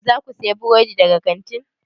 Za ku sayi burodi daga kantin?